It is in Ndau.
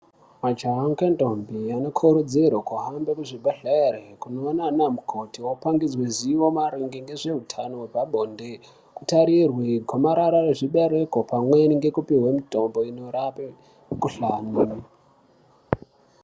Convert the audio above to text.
Mahaja nendombi anokurudzirwe kuhamba kuzvibhedhlera kunoona ana mukoti wopangidza zivo maererano neruzivo rwepabonde kutarirwa gomarara rezvibereko pamwe nekupiwa mitombo inorape mukuhlani.